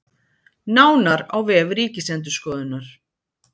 Nánar á vef Ríkisendurskoðunar